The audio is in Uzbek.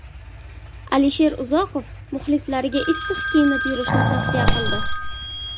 Alisher Uzoqov muxlislariga issiq kiyinib yurishni tavsiya qildi.